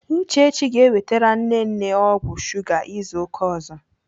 Uchechi ga-ewetere nne nne ọgwụ shuga izu ụka ọzọ.